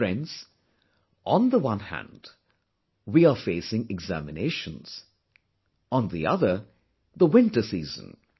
Friends, on the one hand, we are facing examinations; on the other, the winter season